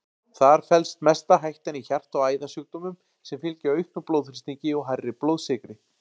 Þar felst mesta hættan í hjarta- og æðasjúkdómum sem fylgja auknum blóðþrýstingi og hærri blóðsykri.